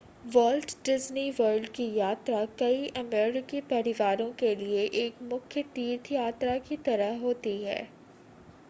vault Disney World की यात्रा कई अमेरिकी परिवारों के लिए एक मुख्य तीर्थ यात्रा की तरह होती है